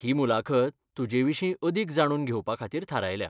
ही मुलाखत तुजेविशीं अदीक जाणून घेवपा खातीर थारायल्या.